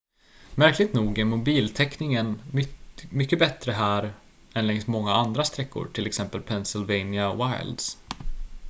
märkligt nog är mobiltäckningen mycket bättre här än längs många andra sträckor t.ex pennsylvania wilds